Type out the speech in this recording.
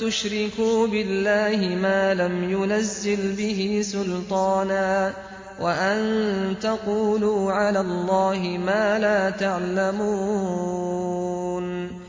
تُشْرِكُوا بِاللَّهِ مَا لَمْ يُنَزِّلْ بِهِ سُلْطَانًا وَأَن تَقُولُوا عَلَى اللَّهِ مَا لَا تَعْلَمُونَ